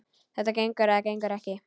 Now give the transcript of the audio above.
Það gengur eða gengur ekki.